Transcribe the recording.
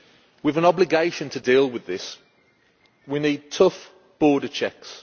We have an obligation to deal with this. We need tough border checks.